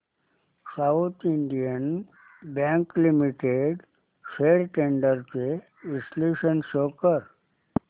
south Indian Bank Limited shares trends चे विश्लेषण show कर